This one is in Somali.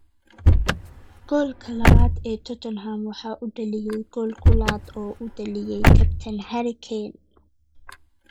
Goolka labaad ee Tottenham waxaa u dhaliyay gool ku laad oo uu u dhaliyay kabtan Harry Kane.